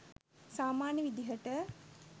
සාමාන්‍ය විදිහට